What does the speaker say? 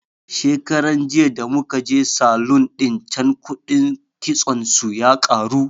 Shekaran jiya da muka je salun ɗin can kuɗin kitson su ya karu